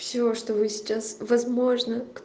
все что вы сейчас возможно